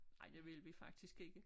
Ej det ville vi faktisk ikke